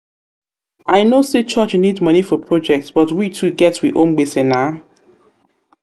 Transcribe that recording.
know sey church need moni for project but we too get we own gbese na.